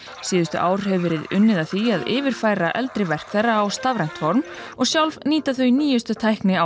síðustu ár verið unnið að því að yfirfæra eldri verk þeirra á stafrænt form og sjálf nýta þau nýjustu tækni